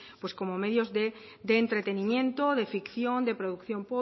pues como medios de entretenimiento de ficción de producción